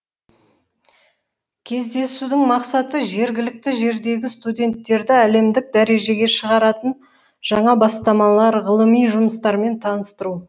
кездесудің мақсаты жергілікті жердегі студенттерді әлемдік дәрежеге шығаратын жаңа бастамалар ғылыми жұмыстармен таныстыру